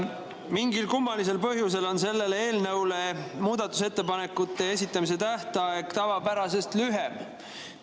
Mingil kummalisel põhjusel on selle eelnõu kohta muudatusettepanekute esitamise tähtaeg tavapärasest lühem.